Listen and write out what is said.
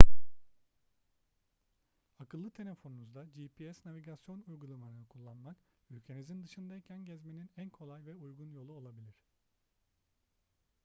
akıllı telefonunuzda gps navigasyon uygulamalarını kullanmak ülkenizin dışındayken gezmenin en kolay ve uygun yolu olabilir